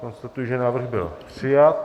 Konstatuji, že návrh byl přijat.